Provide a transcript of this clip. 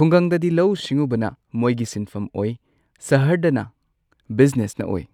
ꯈꯨꯡꯒꯪꯗꯗꯤ ꯂꯧꯎ ꯁꯤꯉꯨꯕꯅ ꯃꯣꯏꯒꯤ ꯁꯤꯟꯐꯝ ꯑꯣꯏ ꯁꯍꯔꯗꯅ ꯕꯤꯖꯤꯅꯦꯁ ꯅ ꯑꯣꯏ꯫